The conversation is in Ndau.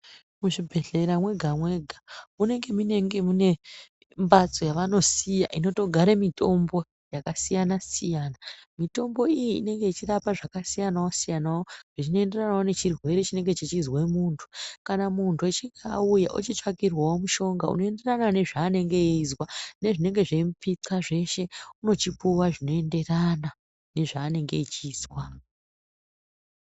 Muzvibhedhlera mwega mwega munenge mune mphatso yevanosiya inogare mitombo, mitombo iyi inorapawo yakasiyana siyanawo zvichienderanawo nechirwere chinonga chechizwa munthu kana munthu echinge auya nezvaanenge eizwa nezvinenge zveimupixa zveshe unochipuwa zvinoenderana nezvaanenge echizwa.